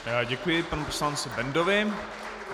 Děkuji panu poslanci Bendovi.